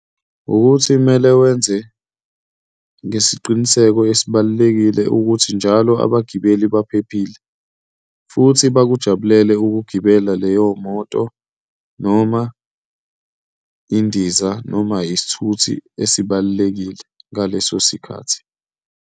Ukuthi kumele wenze ngesiqiniseko esibalulekile ukuthi njalo abagibeli baphephile futhi bakujabulele ukugibela leyo moto, noma indiza, noma isithuthi esibalulekile ngaleso sikhathi.